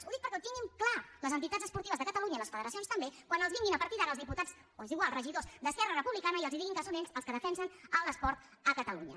ho dic perquè ho tinguin clar les entitats esportives de catalunya i les federacions també quan els vinguin a partir d’ara els diputats o és igual regidors d’esquerra republicana i els diguin que són ells els que defensen l’esport a catalunya